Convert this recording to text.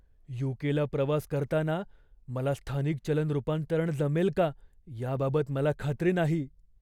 यू.के.ला प्रवास करताना मला स्थानिक चलन रूपांतरण जमेल का याबाबत मला खात्री नाही.